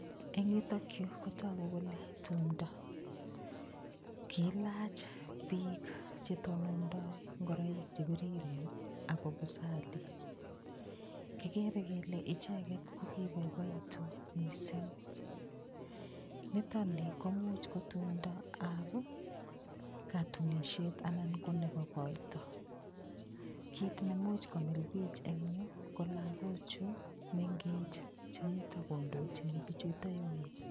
Eng' yutokyu kotoku kole tumdo kiilach biik chetonondoi ngoroik chepiriren ako busali kikere kele icheget ko koboiboitu mising' nitoni komuuch ko tumdoab katunishet anan ko nebo koito kiit nemuuch komil biich eng' yu ko lakochu mengech chemito kondochini bichuto yoen